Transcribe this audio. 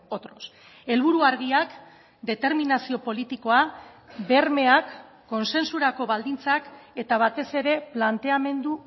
otros helburu argiak determinazio politikoa bermeak kontsentsurako baldintzak eta batez ere planteamendu